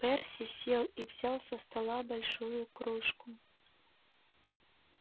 перси сел и взял со стола большую кружку